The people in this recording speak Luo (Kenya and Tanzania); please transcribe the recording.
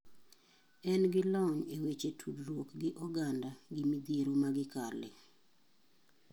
En gi lony e weche tudruok gi oganda gi midhiero ma gi kale.